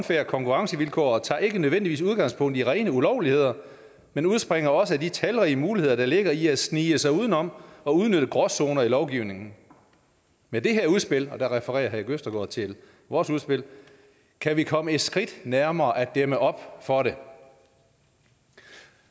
konkurrencevilkår tager ikke nødvendigvis udgangspunkt i rene ulovligheder men udspringer også af de talrige muligheder der ligger i at snige sig udenom og udnytte gråzoner i lovgivningerne med dette udspil og der refererer erik østergaard til vores udspil kan vi komme et skridt nærmere at dæmme op for det